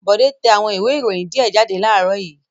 Bọ̀dé tẹ àwọn ìwé-ìròyìn díẹ̀ jáde láàárọ̀ yìí.